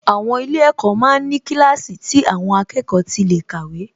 Àwọn ilé-ẹ̀kọ́ ma ń ní kíláàsì tí àwọn akẹ́kọ̀ọ́ tí lè kàwé